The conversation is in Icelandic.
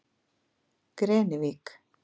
Grenivík